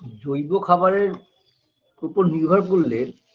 জৈব খাবারের ওপর নির্ভর করলে